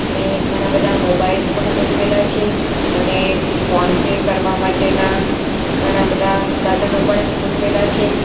અને ઘણા બધા મોબાઇલ પણ ગોઠવેલા છે અને ફોન પે કરવા માટેના ઘણા બધા સાધનો પણ અહીં ગોઠવેલા છે.